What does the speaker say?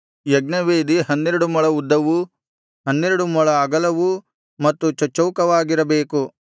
ಯಜ್ಞವೇದಿ ಹನ್ನೆರಡು ಮೊಳ ಉದ್ದವೂ ಹನ್ನೆರಡು ಮೊಳ ಅಗಲವೂ ಮತ್ತು ಚಚ್ಚೌಕವಾಗಿರಬೇಕು